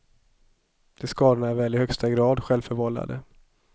De skadorna är väl i högsta grad självförvållade.